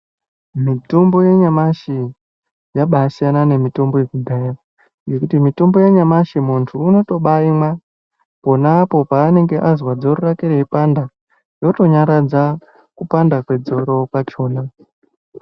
Mitombo yanyamashi yabaasiyana nemitombo yekudhaya ngekuti mitombo yanyamashi muntu unotobaayimwa ponapo paanenge azwa dzoro rakwe reipanda yotonyaradza kupanda kwedzoro rachona.